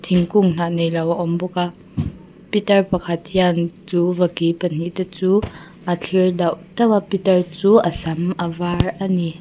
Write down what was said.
thingkung hnah neilo a awm bawk a pitar pakhat hian chu vaki pahnih te chu a thlir dauh dauh a pitar chu a sam a var a ni.